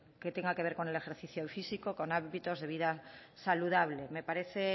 que tenga que ver con el ejercicio físico con hábitos de vida saludables me parece